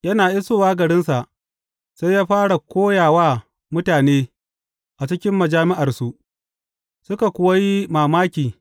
Yana isowa garinsa, sai ya fara koya wa mutane a cikin majami’arsu, suka kuwa yi mamaki.